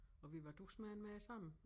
Og vi var dus med den med det samme